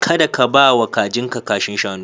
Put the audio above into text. Kada ka ba wa kajinka kashin shanu.